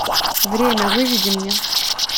время выведи мне